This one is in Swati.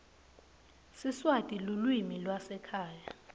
siswati lulwimi lwasekhaya